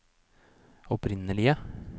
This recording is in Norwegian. opprinnelige